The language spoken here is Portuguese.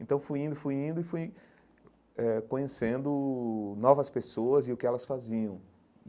Então fui indo, fui indo e fui eh conhecendo novas pessoas e o que elas faziam.